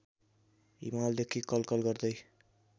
हिमालदेखि कलकल गर्दै